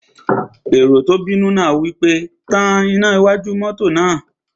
Èrò tó bínú náà wí pé, "Tan iná wájú náà!"